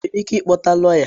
Ị nwere ike ịkpọta lọya?